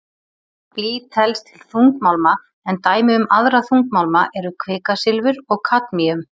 Blý telst til þungmálma en dæmi um aðra þungmálma eru kvikasilfur og kadmíum.